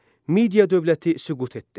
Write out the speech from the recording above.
Media dövləti süqut etdi.